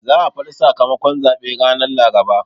Za a faɗi sakamakon zaɓe ranan Laraba.